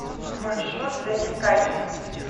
маршрут зазеркалье